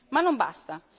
Ma non basta.